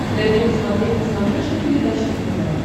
дай мне посмотреть на смотрешке передачу нтв